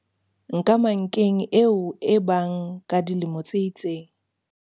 Nkamankeng eo e bang ka dilemo tse itseng.